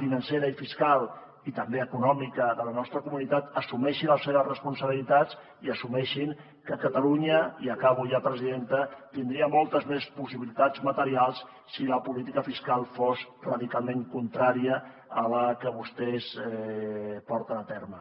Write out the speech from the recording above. financera i fiscal i també econòmica de la nostra comunitat assumeixi les seves responsabilitats i assumeixin que catalunya i acabo ja presidenta tindria moltes més possibilitats materials si la política fiscal fos radicalment contrària a la que vostès porten a terme